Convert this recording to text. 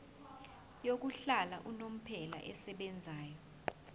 yokuhlala unomphela esebenzayo